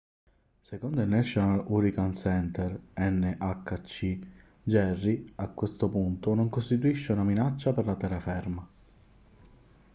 secondo il national hurricane center nhc jerry a questo punto non costituisce una minaccia per la terraferma